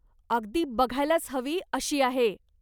अगदी बघायलाच हवी अशी आहे.